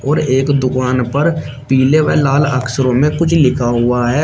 और एक दुकान पर पीले व लाल अक्षरों में कुछ लिखा हुआ है।